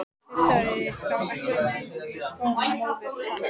Hann pissaði þá ekki á meðan í skó móður hans.